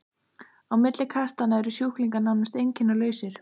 Á milli kastanna eru sjúklingar nánast einkennalausir.